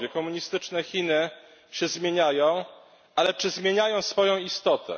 Komunistyczne Chiny się zmieniają, ale czy zmieniają swoją istotę?